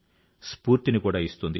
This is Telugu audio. స్ఫూర్తిని కూడా ఇస్తుంది